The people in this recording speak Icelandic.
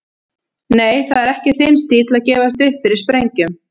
Nei, það er ekki þinn stíll að gefast upp fyrir sprengjum.